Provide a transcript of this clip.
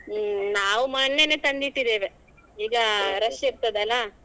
ಹ್ಮ್ ನಾವು ಮೊನ್ನೆನೇ ತಂದಿಟ್ಟಿದ್ದೇವೆ ಈಗ rush ಇರ್ತದಲ್ಲಾ.